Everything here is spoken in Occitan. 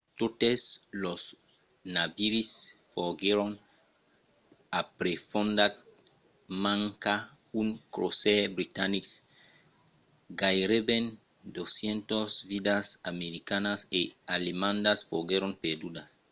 totes los naviris foguèron aprefondats manca un crosaire britanic. gaireben 200 vidas americanas e alemandas foguèron perdudas